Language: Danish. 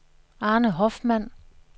Arne Hoffmann